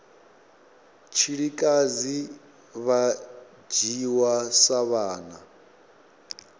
tshilikadzi vha dzhiwa sa vhana